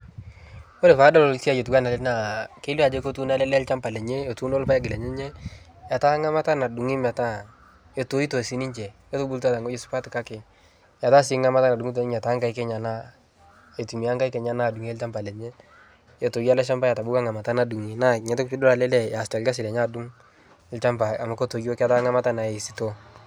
Kore paadol siai otuwana ale naa kelio ajo ketuuno ale lee lchamba lenye, etuuno lpaeg lenyenye, etaa ng'amata nadung'i metaa etoito sii ninche, etubulutwa teng'oji supat kake etaa sii ng'amata nadung'uto ninye tenkaik enyana aitumiyaa nkaik enyana adung'e lchamba lenye etoyo ale shamba etabauwa ng'amata nadung'i naa nia toki piidol ale lee easita lgasi lenye adung' lchamba amu ketoyo ketaa ng'amata nayae sitoo.